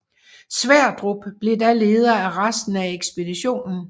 Sverdrup blev da leder af resten af ekspeditionen